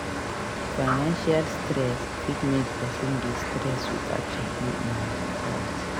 Financial stress fit make person dey stress without checking im health